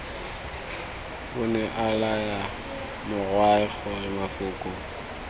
onea laya morwae gore mafoko